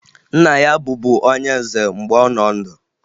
Nna ya bụbu onye nze mgbe ọ nọ ndụ